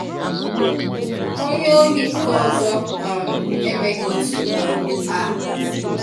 Ọnye ọhị̀ nkọ̀ ọzọ um emèghị otu um a.